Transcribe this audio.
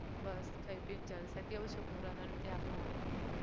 બસ ખાઈ પી ને જલસા કેવું છે corona નું ત્યાં આપણે આણંદ માં?